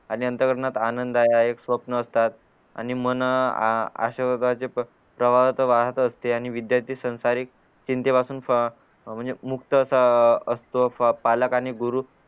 आणि अंतःकरणात आनंद आहे हा एक स्वप्न असतात आणि मन आ अश्या होतात जे प्रवाह तर वाहत असते आणि विद्यार्थी सांसारिक चिंते पासून फ म्हणजे मुक्त असा अ असतो पालक आणि गुरु